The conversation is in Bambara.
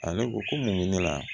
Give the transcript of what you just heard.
Ale ko ko mun bɛ ne la